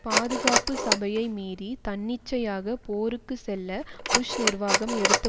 பாதுகாப்பு சபையை மீறி தன்னிச்சையாக போருக்கு செல்ல புஷ் நிர்வாகம் எடுத்த